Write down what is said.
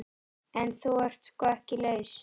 En þú ert sko ekki laus.